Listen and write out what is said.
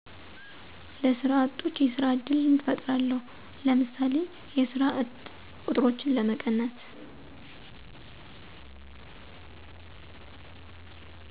ለሰራ አጦች የስራ እድል እፍጥራለው ለምሳሌ የስራ እጥ ቆጥሮችን ለመቀነስ